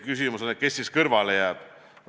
Küsimus on, kes siis kõrvale jääb.